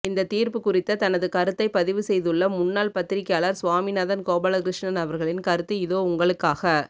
இந்த தீர்ப்பு குறித்த தனது கருத்தை பதிவு செய்துள்ள முன்னாள் பத்திரிக்கையாளர் சுவாமிநாதன் கோபாலகிருஷ்ணன் அவர்களின் கருத்து இதோ உங்களுக்காக